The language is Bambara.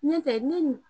Ɲɔtɛ ne nin